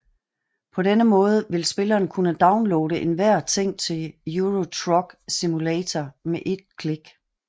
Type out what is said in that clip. På denne måde vil spilleren kunne downloade enhver ting til Euro Truck Simulator ved ét klik